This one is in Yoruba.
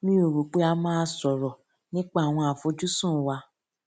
mi ò rò pé a máa sòrò nípa àwọn àfojúsùn wa